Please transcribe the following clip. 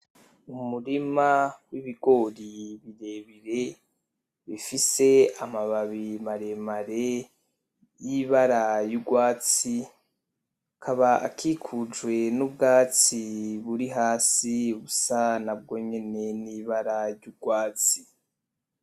Umurima w'ibigori birebire bifise amababi maremare y'ibara y'urwatsi akaba akikujwe nubwatsi buri hasi busa nabwo nyene n'ibara y'urwatsi.